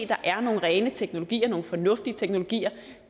der er nogle rene teknologier nogle fornuftige teknologier